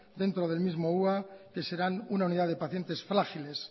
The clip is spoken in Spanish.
dentro del mismo hua que serán una unidad de pacientes frágiles